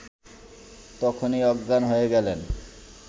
তখনই অজ্ঞান হয়ে গেলেন